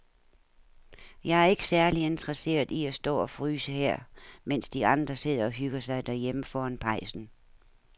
Jeg er ikke særlig interesseret i at stå og fryse her, mens de andre sidder og hygger sig derhjemme foran pejsen.